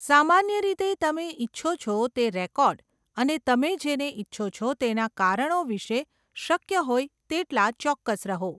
સામાન્ય રીતે, તમે ઇચ્છો છો તે રેકોર્ડ અને તમે જેને ઇચ્છો છો તેના કારણો વિશે શક્ય હોય તેટલા ચોક્કસ રહો.